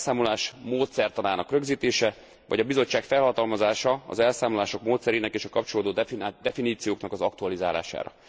az elszámolás módszertanának rögzítése, vagy a Bizottság felhatalmazása az elszámolások módszerének és a kapcsolódó definícióknak az aktualizálására.